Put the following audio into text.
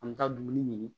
An bɛ taa dumuni ɲini